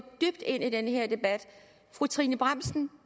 dybt ind i den her debat fru trine bramsen